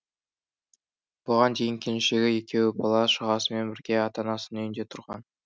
бұған дейін келіншегі екеуі бала шағасымен бірге ата анасының үйінде тұрған